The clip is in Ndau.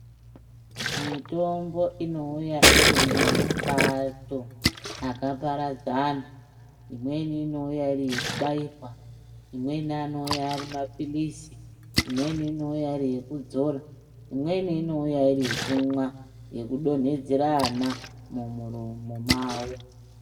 Mitombo inouya iri mumapato akaparadzana. Imweni inouya iri yekubayirwa, imweni anouya ari mapilizi, imweni inouya iri yekudzora, imweni inouya iri yekumwa yekudonhedzera ana mumuromo mavo.